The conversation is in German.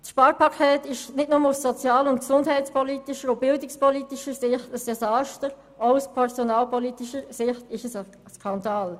Das Sparpaket ist nicht nur in sozial-, gesundheits- und bildungspolitischer Hinsicht ein Desaster, sondern es ist auch aus personalpolitischer Sicht ein Skandal.